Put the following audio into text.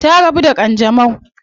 Ta rabu da kanjamau.